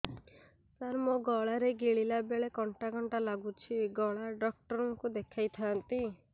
ସାର ମୋ ଗଳା ରେ ଗିଳିଲା ବେଲେ କଣ୍ଟା କଣ୍ଟା ଲାଗୁଛି ଗଳା ଡକ୍ଟର କୁ ଦେଖାଇ ଥାନ୍ତି